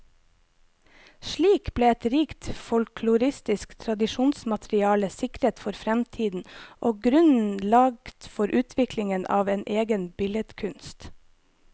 Slik ble et rikt folkloristisk tradisjonsmateriale sikret for fremtiden, og grunnen lagt for utviklingen av en egen billedkunst.